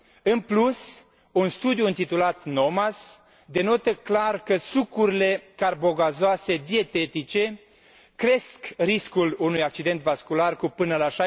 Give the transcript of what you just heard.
În plus, un studiu întitulat NOMAS denotă clar că sucurile carbogazoase dietetice cresc riscul unui accident vascular cu până la